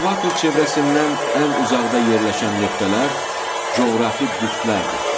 Ekvator çevrəsindən ən uzaqda yerləşən nöqtələr coğrafi qütblərdir.